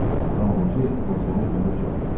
Madam Voke Votrenə dönüb soruşdu: